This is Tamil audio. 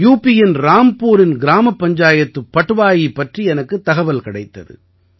யூபியின் ராம்புரின் கிராமப் பஞ்சாயத்து பட்வாயி பற்றி எனக்குத் தகவல் கிடைத்தது